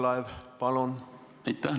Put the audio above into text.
Aitäh!